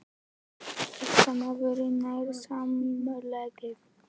Fréttamaður: Nær samkomulagið?